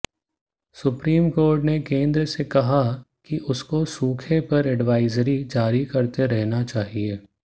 supreme court ने केंद्र से कहा कि उसको सूखे पर एडवाइजरी जारी करते रहना चाहिए